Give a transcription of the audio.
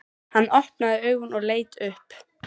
Hann opnaði augun og leit upp.